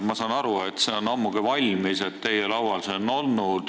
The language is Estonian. Ma saan aru, et see on ammugi valmis, teie laual on see olnud.